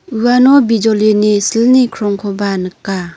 uano bijolini silni krongkoba nika.